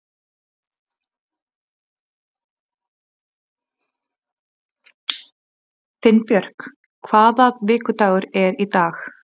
Finnbjörk, hvaða vikudagur er í dag?